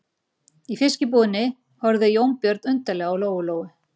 Í fiskbúðinni horfði Jónbjörn undarlega á Lóu-Lóu.